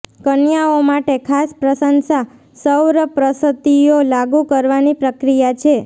કન્યાઓ માટે ખાસ પ્રશંસા સૌરપ્રસત્તિઓ લાગુ કરવાની પ્રક્રિયા છે